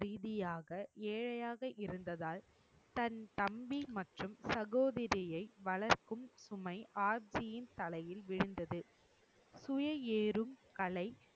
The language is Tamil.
ரீதியாக ஏழையாக இருந்ததால் தன் தம்பி மற்றும் சகோதரியை வளர்க்கும் சுமை ஆப்ஜியின் தலையில் விழுந்தது துய ஏறும்கலை